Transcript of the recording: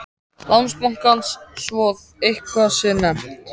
Landsbankans svo að eitthvað sé nefnt.